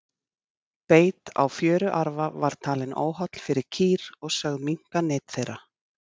Beit á fjöruarfa var talinn óholl fyrir kýr og sögð minnka nyt þeirra.